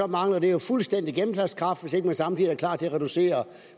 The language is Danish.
mangler det jo fuldstændigt gennemslagskraft hvis man ikke samtidig er klar til at reducere